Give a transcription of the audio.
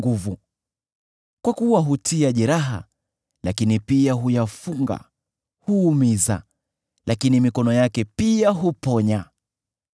Kwa kuwa hutia jeraha, lakini pia huyafunga; huumiza, lakini mikono yake pia huponya.